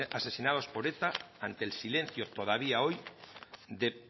asesinados por eta ante el silencio todavía hoy de